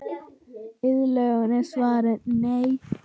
Iðulega er svarið nei.